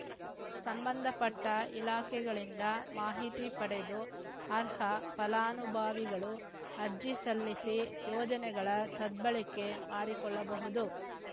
ಸಂಬಂಧಪಟ್ಟಇಲಾಖೆಗಳಿಂದ ಮಾಹಿತಿ ಪಡೆದು ಅರ್ಹ ಫಲಾನುಭವಿಗಳು ಅರ್ಜಿ ಸಲ್ಲಿಸಿ ಯೋಜನೆಗಳ ಸದ್ಬಳಕೆ ಮಾಡಿಕೊಳ್ಳಬಹುದು